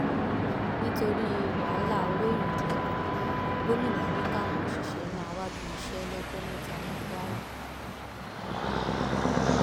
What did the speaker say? nítorí wàhálà owó ìrànwọ epo gómìnà ni káwọn òṣìṣẹ máa wábi iṣẹ lọjọ mẹta ní kwara